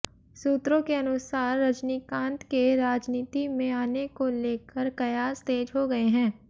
सूत्रों के अनुसार रजनीकांत के राजनीति में आने को लेकर कयास तेज हो गए हैं